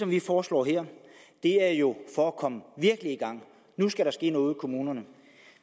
vi foreslår her er jo for at komme virkelig i gang nu skal der ske noget ude i kommunerne